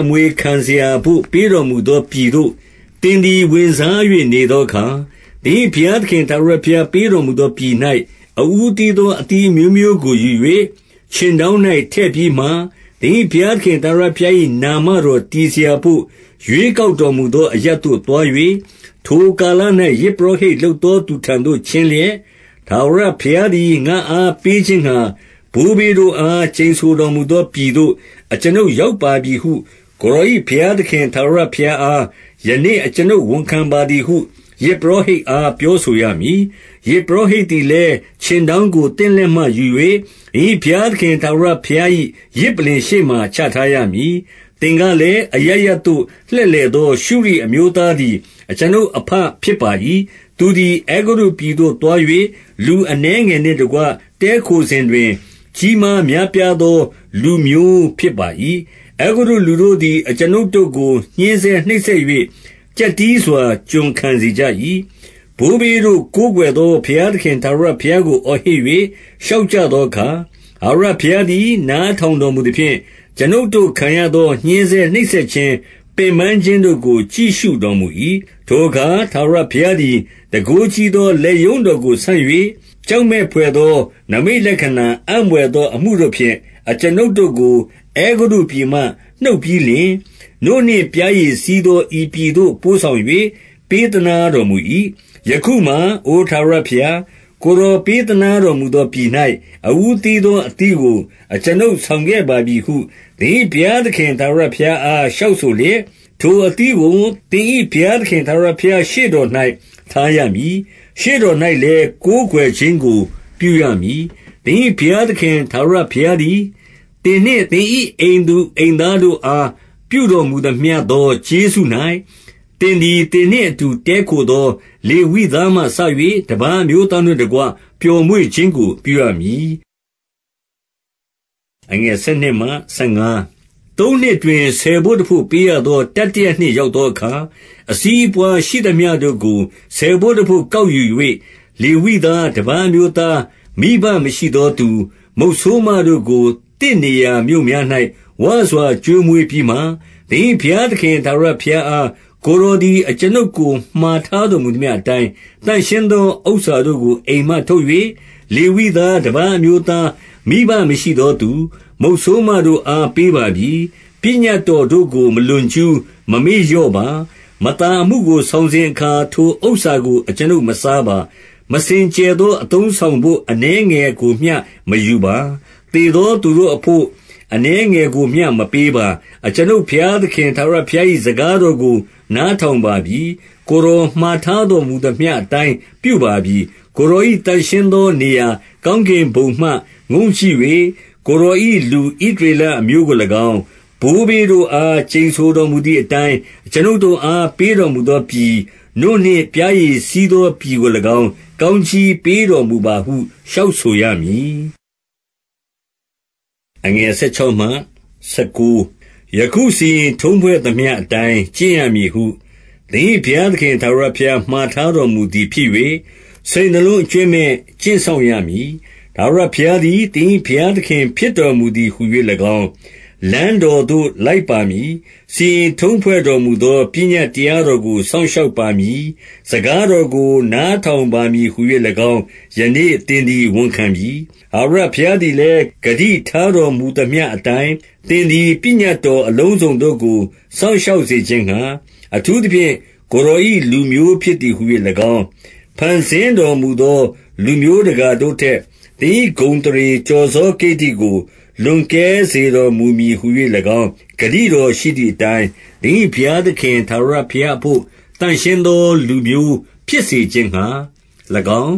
အမွေခံစရာဘို့ ပေးတော်မူသောပြည်သို့ သင်သည် ဝင်စား၍ နေသောအခါ၊ 2 သင်၏ဘုရားသခင် ထာဝရဘုရားပေးတော်မူ သောပြည်၌ အဦးသီးသော အသီးအမျိုးမျိုးကိုယူ၍ ခြင်တောင်း၌ ထည့်ပြီးမှ သင်၏ဘုရားသခင် ထာဝရ ဘုရား၏ နာမတော်တည်စရာဘို့ ရွေးကောက်တော်မူ သော အရပ်သို့ သွား၍၊ 3 ထိုကာလ၌ ယဇ်ပုရောဟိတ်လုပ်သော သူထံသို့ ချဉ်းလျက်၊ ထာဝရဘုရားသည် ငါ့အားပေးခြင်းငှာ၊ ဘိုးဘေးတို့အား ကျိန်ဆိုတော်မူသောပြည်သို့ အကျွန်ုပ် ရောက်ပါပြီဟု ကိုယ်တော်၏ဘုရားသခင် ထာဝရဘုရား အား ယနေ့ အကျွန်ုပ်ဝန်ခံပါသည်ဟု ယဇ်ပုရောဟိတ် အား ပြောဆိုရမည်။ 4 ယဇ်ပုရောဟိတ်သည်လည်း ခြင်းတောင်းကို သင့်လက်မှယူ၍ သင်၏ဘုရားသခင် ထာဝရဘုရား၏ ယဇ်ပုလ္လင်ရှေ့မှာ ချထားရမည်။ 5 သင်ကလည်း၊ အရပ်ရပ်သို့ လှည့်လည်သော ရှုရိအမျိုးသားသည် အကျွန်ုပ်အဘ ဖြစ်ပါ၏။ သူသည် အဲဂုတ္တုပြည်သို့ သွား၍ လူအနည်းငယ်နှင့်တကွ တည်းခို စဉ်တွင် ကြီးမားများပြားသော လူမျိုးဖြစ်ပါ၏။ 6 အဲဂုတ္တုလူတို့သည် အကျွန်ုပ်တို့ကို ညှဉ်းဆဲနှိပ် စက်၍ ကျပ်တည်းစွာ ကျွန်ခံစေကြ၏။ 7 ဘိုးဘေးတို့ကိုးကွယ်သော ဘုရားသခင် ထာဝရ ဘုရားကို အော်ဟစ်၍ လျှောက်ကြသောအခါ၊ ထာဝရ ဘုရားသည် နားထောင်တော်မူသဖြင့်၊ အကျွန်ုပ်တို့ ခံရသော ညှဉ်းဆဲနှိပ်စက်ခြင်း၊ ပင်ပန်းခြင်းတို့ကို ကြည့်ရှု တော်မူ၏။ 8 ထိုအခါ ထာဝရဘုရားသည် တန်ခိုးကြီးသော လက်ရုံးတော်ကို ဆန့်၍ ကြောက်မက်ဘွယ်သော နိမိတ် လက္ခဏာ အံ့ဘွယ်သောအမှုတို့ဖြင့် အကျွန်ုပ်တို့ကို အဲဂုတ္တုပြည်မှ နှုတ်ပြီးလျှင်၊ 9 နို့နှင့်ပျားရည်စီးသော ဤပြည်သို့ ပို့ဆောင်၍ ပေးသနားတော်မူ၏။ 10 ယခုမှာ အိုထာဝရဘုရား၊ ကိုယ်တော်ပေးသနား တော်မူသောပြည်၌ အဦးသီးသော အသီးကို အကျွန်ုပ် ဆောင်ခဲ့ပါပြီဟု သင်၏ဘုရားသခင် ထာဝရဘုရားအား လျှောက်ဆိုလျက်၊ ထိုအသီးကို သင်၏ဘုရားသခင် ထာဝရဘုရားရှေ့တော်၌ ထားရမည်။ ရှေ့တော်၌လည်း ကိုးကွယ်ခြင်းကို ပြုရမည်။ 11 သင်၏ဘုရားသခင် ထာဝရဘုရားသည်၊ သင်နှင့် သင်၏အိမ်သူအိမ်သားတို့အား ပြုတော်မူသမျှ သော ကျေးဇူး၌၊ သင်သည် သင်နှင့်အတူ တည်းခိုသော လေဝိသားမှစ၍ တပါးအမျိုးသားတို့နှင့်တကွ ပျော်မွေ့ ခြင်းကို ပြုရမည်။ 12 သုံးနှစ်တွင် ဆယ်ဘို့တဘို့ပေးရသော တတိယ နှစ် ရောက်သောအခါ၊ အစီးအပွားရှိသမျှတို့ကို ဆယ်ဘို့ တဘို့ ကောက်ယူ၍၊ လေဝိသား၊ တပါးအမျိုးသား၊ မိဘမရှိ သောသူ၊ မုတ်ဆိုးမတို့ကို သင့်နေရာမြို့များ၌ ဝစွာကျွေး မွေးပြီးမှ၊ 13 သင်၏ဘုရားသခင် ထာဝရဘုရားအား၊ ကိုယ် တော်သည် အကျွန်ုပ်ကို မှာထားတော်မူသမျှအတိုင်း၊ သန့်ရှင်းသောဥစ္စာတို့ကို အိမ်မှထုတ်၍ လေဝိသား၊ တပါး အမျိုးသား၊ မိဘမရှိသောသူ၊ မုတ်ဆိုးမတို့အား ပေးပါပြီ။ ပညတ်တော်တို့ကို မလွန်ကျူး၊ မမေ့လျော့ပါ။ 14 မသာအမှုကို ဆောင်စဉ်အခါ ထိုဥစ္စာကို အကျွန်ုပ်မစားပါ။ မစင်ကြယ်သော အသုံးအဆောင်ဘို့ အနည်းငယ်ကိုမျှ မယူပါ။ သေသောသူတို့အဘို့ အနည်း ငယ်ကိုမျှ မပေးပါ။ အကျွန်ုပ်ဘုရားသခင် ထာဝရဘုရား ၏ စကားတော်ကို နားထောင်ပါပြီ။ ကိုယ်တော်မှာထား တော်မူသမျှအတိုင်း ပြုပါပြီ။ 15 ကိုယ်တော်၏ သန့်ရှင်းသော နေရာကောင်းကင် ဘုံမှ ငုံ့ကြည့်၍၊ ကိုယ်တော်၏ လူဣသရေလအမျိုးကို၎င်း၊ ဘိုးဘေးတို့အား ကျိန်ဆိုတော်မူသည်အတိုင်း၊ အကျွန်ုပ်တို့ အား ပေးတော်မူသောပြည်၊ နို့နှင့် ပျားရည်စီးသော ပြည်ကို၎င်း ကောင်းကြီးပေးတော်မူပါဟု လျှောက်ဆို ရမည်။ 16 ယခုစီရင်ထုံးဖွဲ့သမျှအတိုင်း ကျင့်ရမည်ဟု သင်၏ဘုရားသခင် ထာဝရဘုရား မှာထားတော်မူသည် ဖြစ်၍ စိတ်နှလုံးအကြွင်းမဲ့ ကျင့်စောင့်ရမည်။ 17 ထာဝရဘုရားသည် သင်၏ဘုရားသခင် ဖြစ်တော်မူသည်ဟူ၍၎င်း၊ လမ်းတော်သို့ လိုက်ပါမည်၊ စီရင်ထုံးဖွဲ့တော်မူသော ပညတ်တရားတော်ကို စောင့် ရှောက်ပါမည်၊ စကားတော်ကို နားထောင်ပါမည်ဟူ၍ ၎င်း၊ ယနေ့ သင်သည် ဝန်ခံပြီ။ 18 ထာဝရဘုရားသည်လည်း ဂတိထားတော်မူသမျှ အတိုင်း၊ သင်သည် ပညတ်တော် အလုံးစုံတို့ကို စောင့် ရှောက်စေခြင်းငှာ၊ အထူးသဖြင့် ကိုယ်တော်၏ လူမျိုး ဖြစ်သည်ဟူ၍၎င်း၊ 19 ဖန်ဆင်းတော်မူသော လူမျိုးတကာတို့ထက် သင်၏ဂုဏ်အသရေကျော်စော ကိတ္တိကို လွန်ကဲစေတော် မူမည်ဟူ၍၊ ၎င်းဂတိတော်ရှိသည်အတိုင်း၊ သင်၏ဘုရား သခင် ထာဝရဘုရားအဘို့ သန့်ရှင်းသောလူမျိုး ဖြစ်စေ ခြင်းငှာ၎င်း